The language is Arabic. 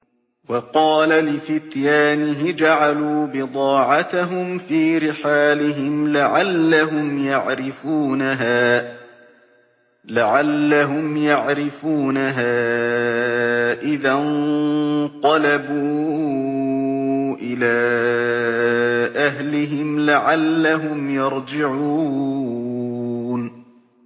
وَقَالَ لِفِتْيَانِهِ اجْعَلُوا بِضَاعَتَهُمْ فِي رِحَالِهِمْ لَعَلَّهُمْ يَعْرِفُونَهَا إِذَا انقَلَبُوا إِلَىٰ أَهْلِهِمْ لَعَلَّهُمْ يَرْجِعُونَ